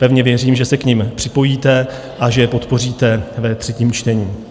Pevně věřím, že se k nim připojíte a že je podpoříte ve třetím čtení.